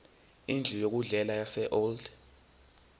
indlu yokudlela yaseold